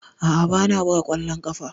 A'a, ba na buga ƙwallon ƙafa.